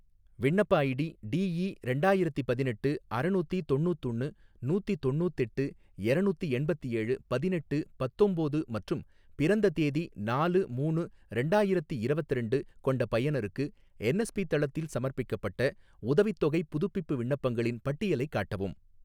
விண்ணப்ப ID D E ரெண்டாயிரத்தி பதினெட்டு அறநூத்தி தொண்ணூத்தொன்னு நூத்தி தொண்ணூத்தெட்டு எரநூத்தி எண்பத்தேழு பதினெட்டு பத்தொம்போது மற்றும் பிறந்த தேதி நாலு மூணு ரெண்டாயிரத்தி இரவத்திரண்டு கொண்ட பயனருக்கு என்எஸ்பி தளத்தில் சமர்ப்பிக்கப்பட்ட உதவித்தொகைப் புதுப்பிப்பு விண்ணப்பங்களின் பட்டியலைக் காட்டவும்